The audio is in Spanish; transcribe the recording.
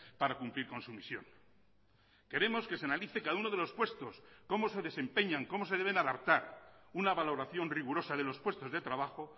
para cumplir con su misión queremos que se analice cada uno de los puestos cómo se desempeñan cómo se deben adaptar una valoración rigurosa de los puestos de trabajo